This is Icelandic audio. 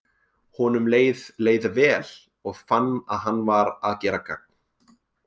Honum leið leið vel, og fann að hann var að gera gagn.